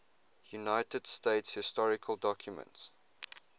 united states historical documents